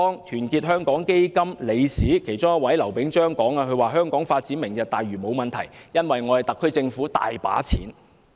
團結香港基金其中一位理事劉炳章曾說，香港發展"明日大嶼"沒有問題，因為特區政府有很多錢。